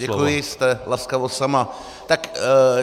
Děkuji, jste laskavost sama.